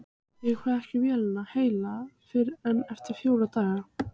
Ég fæ ekki vélina heila fyrr en eftir fjóra daga.